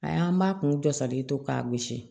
A y'an b'a kun jɔ salen to k'a gosi